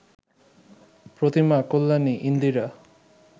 Pratima, Kalyani, Indira